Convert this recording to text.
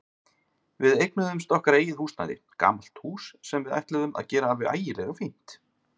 Við eignuðumst okkar eigið húsnæði, gamalt hús sem við ætluðum að gera alveg ægilega fínt.